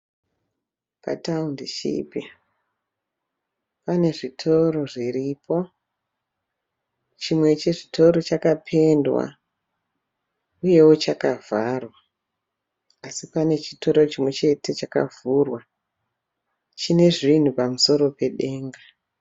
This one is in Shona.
Patoundishipi pane zvitoro zviripo, chimwe chezvitoro chakapendwa uyewo chakavharwa, asi pane chitoro chimwe chete chakavhurwa chine zvinhu pamusoro pedenga.